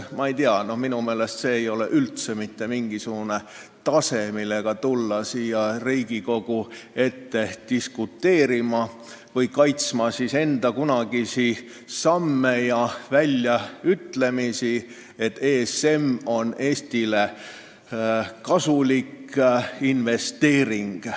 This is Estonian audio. Ma ei tea, minu meelest see ei ole küll tase, millega tulla siia Riigikogu ette diskuteerima või kaitsma enda kunagisi samme ja väljaütlemisi, et ESM on Eestile kasulik investeering.